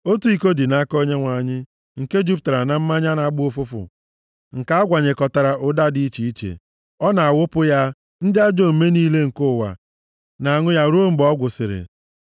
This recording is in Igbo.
Otu iko dị nʼaka Onyenwe anyị nke jupụtara na mmanya na-agba ụfụfụ nke a gwanyekọtara ụda dị iche iche. Ọ na-awụpụ ya, ndị ajọ omume niile nke ụwa na-aṅụ ya ruo mgbe ọ gwụsịrị.